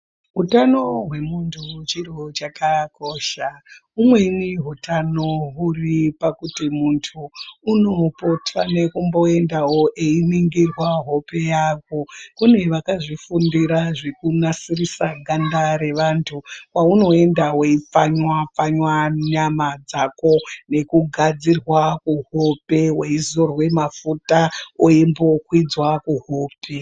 Utano hwemuntu chiro chakakosha. Umweni hutano huri pakuti muntu unopota nekumboendawo einingirwa hope yako. Kune vakazvifundira zvekunasirisa ganda revantu. Kwaunoenda weipfanywa-pfanywa nyama dzako nekugadzirwa kuhope. Weizorwe mafuta weimbokwidzwa kuhope.